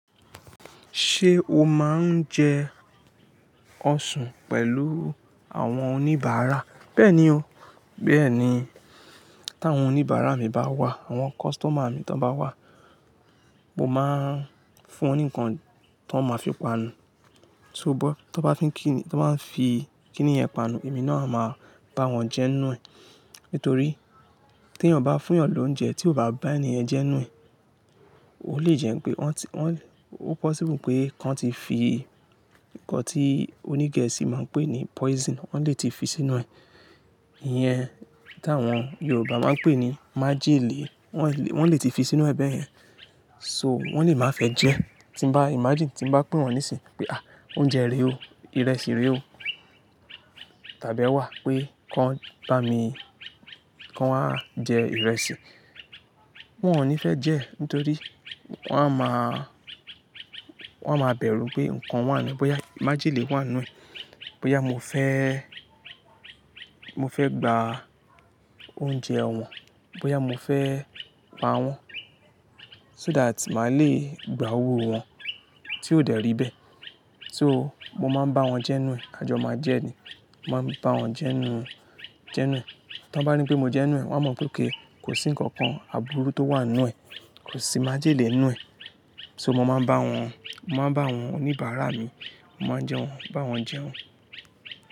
Ṣé o máa ń jẹ ọṣùn pẹ̀lú àwọn oníbàárà? Bẹ́ẹ̀ni o, bẹ́ẹ̀ni. Tí àwọn oníbàárà mi bá wà, àwọn customer mi tí wọ́n bá wà, mo máa ń fún wọn ní nǹkan tọ́n máa fi panu. Shogbo tí wọ́n bá fín kíni, tí wọ́n bá fi kíni yẹn panu, èmi náà máa bá wọn jẹ inú ẹ̀. Nítorí tí ènìyàn bá fún ènìyàn lóúnjẹ tí ó bá bá ènìyàn jẹ inú ẹ̀, o le jẹ́ pé wọ́n ti, wọ́n le, ó possible pé kíkan ti fi nǹkan tí onígẹ̀ẹ́sì máa ń pè ní poison, wọ́n lè ti fi sínú ẹ̀. Ìyẹn tí àwọn Yorùbá máa ń pè ní májèlé. Wọ́n le, wọ́n lè ti fi sínú ẹ bẹ́ẹ̀ yẹn. So wọ́n lè má fẹ́ jẹ. Tí mo bá imagine, tí mo bá pè wọ́n níìsín pé à oúnjẹ rè o, ìrẹsì rè o. Tàbí ẹ wà pé kí wọ́n bá mi, kí wọ́n a jẹ ìrẹsì. Wọn ò ní fẹ́ jẹ́. Nítorí wọ́n á máa, wọ́n á máa bẹ̀rù pé nǹkan wà nínú ẹ. Bóyá májèlé wà nínú ẹ. Bóyá mofe mofe gba oúnjẹ awin. Bóyá mo fẹ́ pa wọ́n. So that màá le gba owó wọn tí ó dẹ̀rí bẹ́ẹ̀. So mo máa ń bá wọn jẹ inú ẹ̀. A jọ máa jẹ́ ni. Mo máa ń bá wọn jẹ inú, jẹ inú ẹ̀. Tí wọ́n bá ní pé mo jẹ inú ẹ, wọ́n mọ̀ pé ok kò sí nǹkan kan aburú tó wà nínú ẹ. Kò sí májèlé nínú ẹ. So mo máa ń bá wọn, mo máa ń bá àwọn oníbàárà mi, mo máa ń jẹ wọ́n, bá wọn jẹ wọ́n.